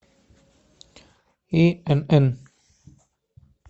инн